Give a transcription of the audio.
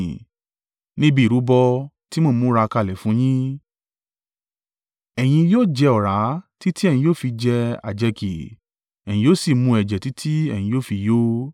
Níbi ìrúbọ tí mo ń múra kalẹ̀ fún yín, ẹ̀yin yóò jẹ ọ̀rá títí ẹ̀yin yóò fi jẹ àjẹkì, ẹ̀yin yóò sì mú ẹ̀jẹ̀ títí ẹ̀yin yóò fi yó.